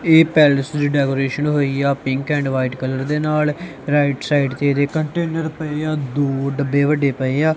ਇਹ ਪੈਲਸ ਦੀ ਡੈਕੋਰੇਸ਼ਨ ਹੋਈ ਆ ਪਿੰਕ ਐਂਡ ਵਾਈਟ ਕਲਰ ਦੇ ਨਾਲ ਰਾਈਟ ਸਾਈਡ ਤੇ ਇਹਦੇ ਕੰਟੇਨਰ ਪਏ ਦੋ ਡੱਬੇ ਵੱਡੇ ਪਏ ਆ।